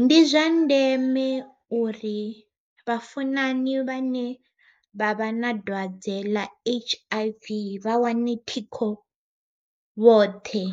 Ndi zwa ndeme uri vhafunani vhane vha vha na dwadze ḽa H_I_V vha wane thikho vhoṱhe,